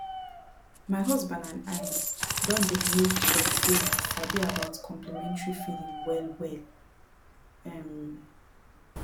my husband and i don dey make sure say we sabi about complementary feeding wellwell um